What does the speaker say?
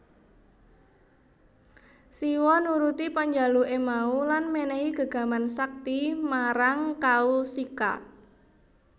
Siwa nuruti panjaluke mau lan menehi gegaman sakti marang Kaushika